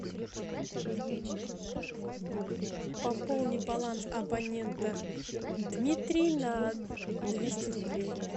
пополни баланс абонента дмитрий на двести рублей